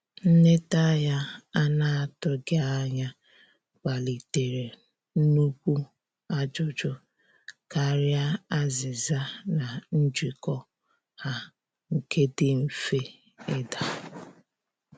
Nleta ya ana atụghi anya kpalitere nukwụ ajụjụ karịa azìza na njiko ha nke di mfe ida